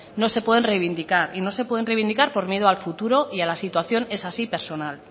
no se pueden reivindicar y no se pueden reivindicar por miedo al futuro y a la situación esa sí personal